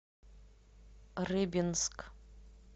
рыбинск